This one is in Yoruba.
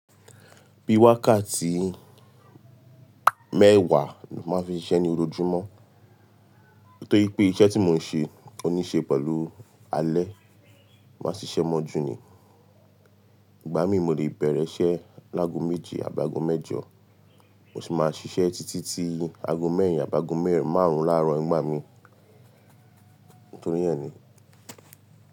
Bíi wákàtí mẹ́wàá ni máa ń fi ṣiṣẹ́ ní ojoojúmọ́. Nítorí pé iṣẹ́ tí mò ń ṣe, ó ní í ṣe pẹ̀lú alẹ́, máa ṣiṣẹ́ mọ́jú ni. Igba mi mo lè bẹ̀rẹ̀ iṣẹ́ láago méje àbi ágo mẹ́jọ, mo sì máa ṣiṣẹ́ títí tí aago mẹ́rin àbágo márùn-ún láàárọ̀ igba mi. Nítorí yẹn ni.